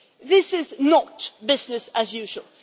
This is not business as usual